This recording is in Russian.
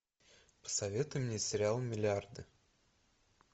посоветуй мне сериал миллиарды